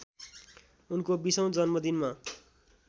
उनको बीसौँ जन्मदिनमा